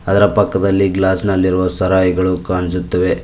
ಅದರ ಪಕ್ಕದಲ್ಲಿ ಗ್ಲಾಸ್ ನಲ್ಲಿರುವ ಸರಾಯಿಗಳು ಕಾಣಿಸುತ್ತಿವೆ.